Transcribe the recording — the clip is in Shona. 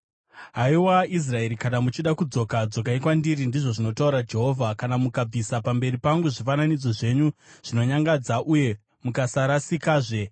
“Haiwa Israeri, kana muchida kudzoka, dzokai kwandiri,” ndizvo zvinotaura Jehovha. “Kana mukabvisa pamberi pangu zvifananidzo zvenyu zvinonyangadza uye mukasarasikazve,